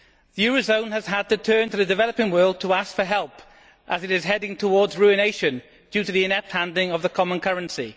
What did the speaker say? The eurozone has had to turn to the developing world to ask for help as it is heading towards ruination due to the inept handling of the common currency.